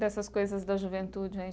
Dessas coisas da juventude, aí?